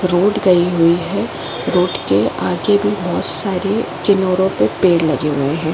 Road गई हुई है। रोड के आगे भी बोहोत सारे के पेड़ लगे हुए हैं।